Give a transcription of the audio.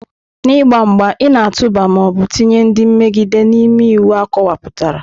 N'ịgba mgba, ị na-atụba ma ọ bụ tinye ndị mmegide n'ime iwu akọwapụtara.